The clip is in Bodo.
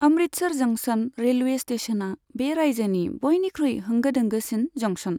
अमृतसर जंशन रेलवे स्टेशना बे रायजोनि बयनिख्रुइ होंगो दोंगोसिन जंशन।